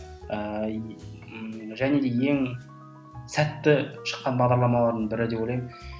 ііі және де ең сәтті шыққан бағдарламалардың бірі деп ойлаймын